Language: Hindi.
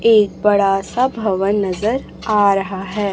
एक बड़ा सा भवन नजर आ रहा है।